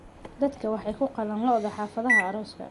Dadku waxay ku qalaan lo'da xafladaha arooska.